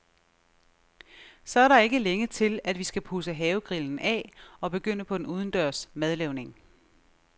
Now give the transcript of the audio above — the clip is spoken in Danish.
Så er der ikke længe til, at vi skal pudse havegrillen af og begynde på den udendørs madlavning.